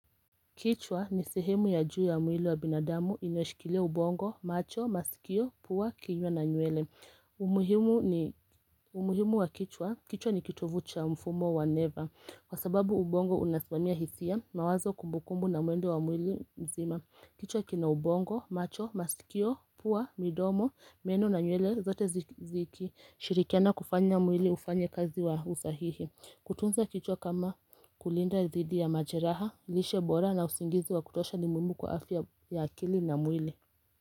Kichwa ni sehemu ya juu ya mwili wa binadamu inayoshikilia ubongo, macho, masikio, pua, kinywa na nywele. Umuhimu wa kichwa. Kichwa ni kitovu cha mfumo wa neva. Kwa sababu ubongo unasmamia hisia, mawazo, kumbukumbu na mwendo wa mwili mzima. Kichwa kina ubongo, macho, masikio, pua, midomo, meno na nywele. Zote zikishirikiana kufanya mwili ufanye kazi wa usahihi. Kutunza kichwa kama kulinda dhidi ya majeraha, lishe bora na usingizi wa kutosha ni muhimu kwa afya ya akili na mwili.